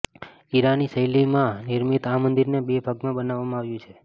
ઈરાની શૈલીમાં નિર્મિત આ મંદિરને બે ભાગમાં બનાવવામાં આવ્યું છે